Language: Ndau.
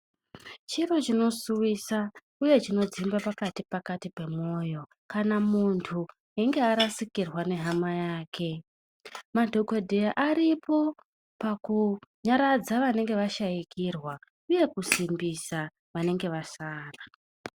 Chiro chinosuwisa uye chinodzimba pakati pakati pemwoyo kana muntu eimge arasikirwa ngehama yake madhokodheya aripo pakunyaradza vanenge vashaikirwa uye kunyaradza vanenge vasara .